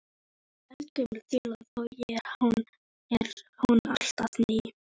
Þetta er eldgömul þula þó er hún alltaf ný.